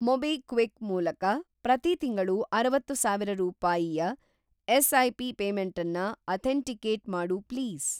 MobiKwik ಮೂಲಕ ಪ್ರತಿ ತಿಂಗಳು ಅರವತ್ತುಸಾವಿರ ರೂಪಾಯಿಯ ಎಸ್.ಐ.ಪಿ. ಪೇಮೆಂಟನ್ನ ಅಥೆಂಟಿಕೇಟ್‌ ಮಾಡು ಪ್ಲೀಸ್.